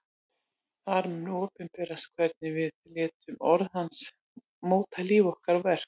Þar mun opinberast hvernig við létum orð hans móta líf okkar og verk.